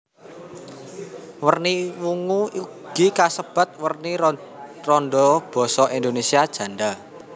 Werni wungu ugi kasebat werni randha basa Indonésia janda